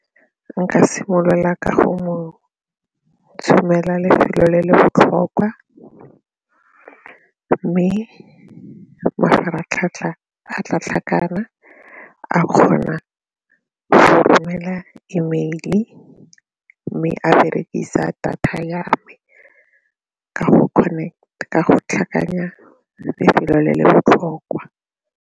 Nka simolola ka go mo tshumela lefelo le le botlhokwa mme mafaratlhatlha a tla tlhakana, a kgona go romela E mail mme a berekisa data ya me ka go tlhakanya lefelo le le botlhokwa.